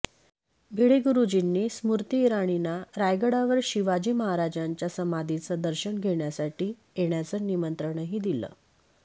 भिडे गुरूजींनी स्मृती इराणींना रायगडावर शिवाजी महाराजांच्या समाधीचं दर्शन घेण्यासाठी येण्याचं निमंत्रणही दिलं